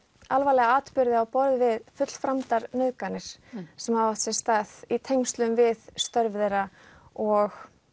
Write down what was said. alvarlega atburði á borð við nauðganir sem hafa átt sér stað í tengslum við störf þeirra og